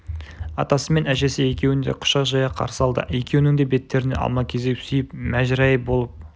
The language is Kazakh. атасы мен әжесі екеуін де құшақ жая қарсы алды екеуінің де беттерінен алма-кезек сүйіп мәжірежай болып